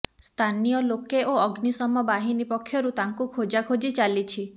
ସ୍ଥାନୀୟ ଲୋକେ ଓ ଅଗ୍ନିଶମ ବାହିନୀ ପକ୍ଷରୁ ତାଙ୍କୁ ଖୋଜାଖୋଜି ଚାଲିଛି